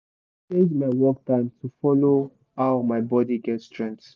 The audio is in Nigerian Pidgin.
i change my work time to follow how my body get strength